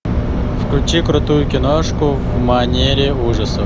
включи крутую киношку в манере ужасы